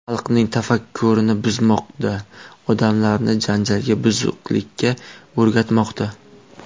Xalqning tafakkurini buzmoqda, odamlarni janjalga, buzuqlikka o‘rgatmoqda.